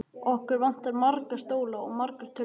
Okkur vantar marga stóla og margar tölvur.